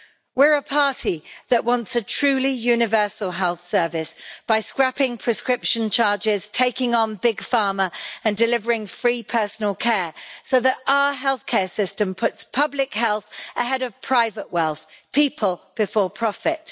We are a party that wants a truly universal health service, by scrapping prescription charges, taking on Big Pharma and delivering free personal care, so that our healthcare system puts public health ahead of private wealth and people before profit.